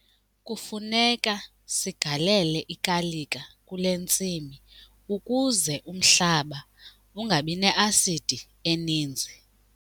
Kufuneka sigalele ikalika kule ntsimi ukuze umhlaba ungabi ne-asidi eninzi.